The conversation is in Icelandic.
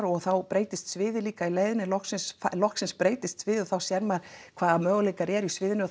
og þá breytist sviðið líka í leiðinni loksins loksins breytist sviðið og þá sér maður hvaða möguleikar eru í sviðinu